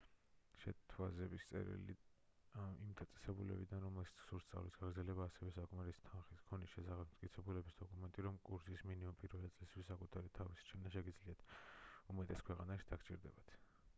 შეთავაზების წერილი იმ დაწესებულებიდან რომელშიც გსურთ სწავლის გაგრძელება ასევე საკმარისი თანხების ქონის შესახებ მტკიცებულების დოკუმენტი რომ კურსის მინიმუმ პირველი წლისთვის საკუთარი თავის რჩენა შეგიძლიათ უმეტეს ქვეყანაში დაგჭირდებათ